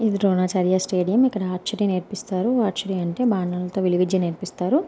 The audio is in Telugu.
ఇది ద్రోణ చార్య స్టేడియం . ఇక్కడ ఆర్చుటి నేర్పిస్తారు. ఆర్చుటి అంటే బాణాలతో విలు విద్య నేర్పిస్తారు.